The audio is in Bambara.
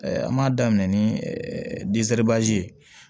An b'a daminɛ ni ye